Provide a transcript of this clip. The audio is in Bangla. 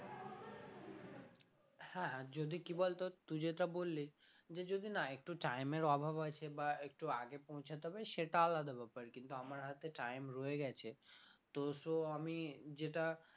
হ্যাঁ হ্যাঁ যদি কি বলতো তুই যেটা বললি যে যদি না একটু time এর অভাব আছে বা একটু আগে পৌঁছাতে হবে সেটা আলাদা ব্যাপার কিন্তু আমার হাতে time রয়ে গেছে তো so আমি যেটা